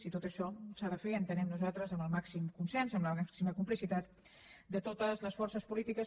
i tot això s’ha de fer ho entenem nosaltres amb el màxim consens amb la màxima complicitat de totes les forces polítiques